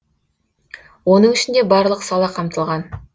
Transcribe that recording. оның ішінде барлық сала қамтылған